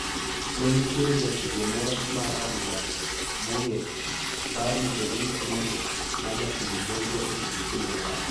Ne nitiere jatugo moro mar adhula mong`ith, Barry Davies ma jatim nonro e BBC ne owacho.